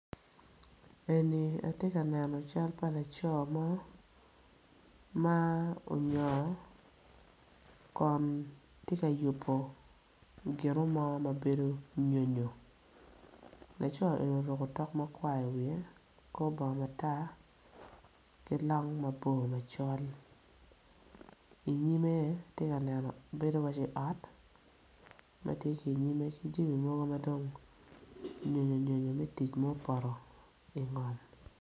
Eni atye ka neno cal pa laco mo ma onyongo kun tye ka yubo ginomo ma bedo nyonyo laco eni oruko tok makwar iwiye kor bongo matar ki long mabor macol inyime tye ka neno bedo iwaci ot ma tye ki inyime ki jamo mogo ma dong nyonyonyonyo me tic ma opoto ingom.